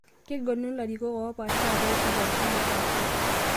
Kegeluni larikok oopaasha peas nkiasin naapasha